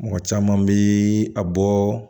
Mɔgɔ caman bɛ a bɔ